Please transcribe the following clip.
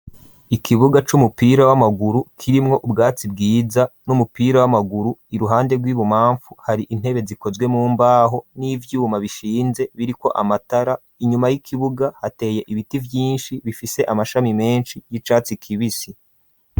Ikibuga c'umupira w'amaguru kirimwo ubwato bwiza n'umupira w'amaguru iruhande rw'ibubamfu hari intebe zikozwe mu mbaho n'ivyuma bishinze biri ko amatara inyuma y'ikibuga hateye ibiti vyinshi bifise amashami meshi y'icatsi kibisi.